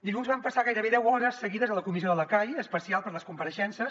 dilluns vam passar gairebé deu hores seguides a la comissió de la cai especial per a les compareixences